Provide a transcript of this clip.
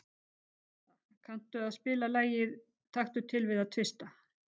Hjalta, kanntu að spila lagið „Taktu til við að tvista“?